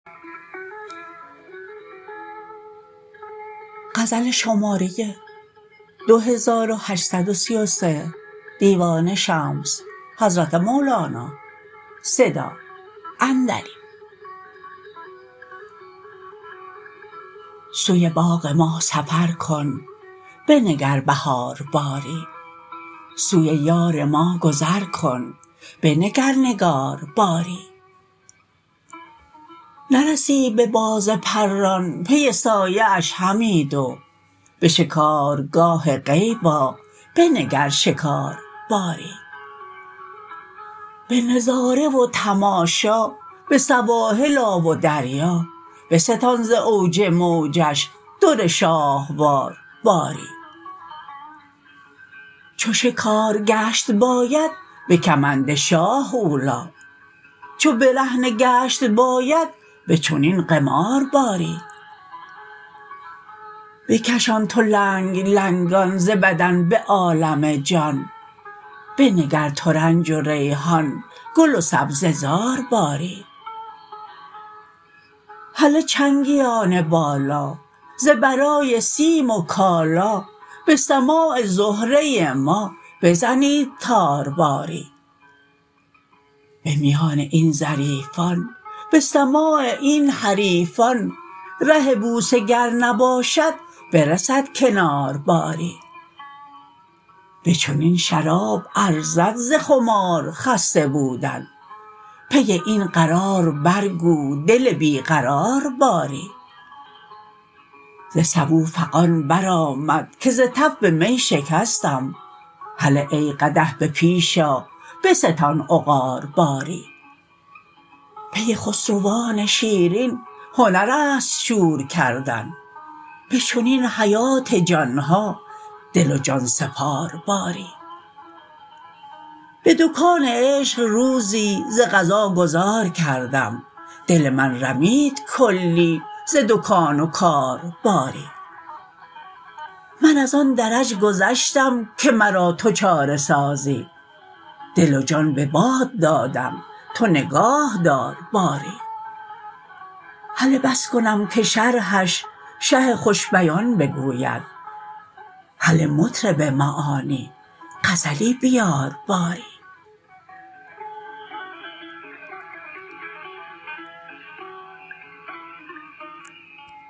سوی باغ ما سفر کن بنگر بهار باری سوی یار ما گذر کن بنگر نگار باری نرسی به باز پران پی سایه اش همی دو به شکارگاه غیب آ بنگر شکار باری به نظاره و تماشا به سواحل آ و دریا بستان ز اوج موجش در شاهوار باری چو شکار گشت باید به کمند شاه اولی چو برهنه گشت باید به چنین قمار باری بکشان تو لنگ لنگان ز بدن به عالم جان بنگر ترنج و ریحان گل و سبزه زار باری هله چنگیان بالا ز برای سیم و کالا به سماع زهره ما بزنید تار باری به میان این ظریفان به سماع این حریفان ره بوسه گر نباشد برسد کنار باری به چنین شراب ارزد ز خمار خسته بودن پی این قرار برگو دل بی قرار باری ز سبو فغان برآمد که ز تف می شکستم هله ای قدح به پیش آ بستان عقار باری پی خسروان شیرین هنر است شور کردن به چنین حیات جان ها دل و جان سپار باری به دکان عشق روزی ز قضا گذار کردم دل من رمید کلی ز دکان و کار باری من از آن درج گذشتم که مرا تو چاره سازی دل و جان به باد دادم تو نگاه دار باری هله بس کنم که شرحش شه خوش بیان بگوید هله مطرب معانی غزلی بیار باری